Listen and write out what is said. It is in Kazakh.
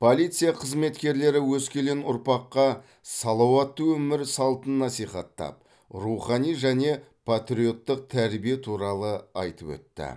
полиция қызметкерлері өскелең ұрпаққа салауатты өмір салтын насихаттап рухани және патриоттық тәрбие туралы айтып өтті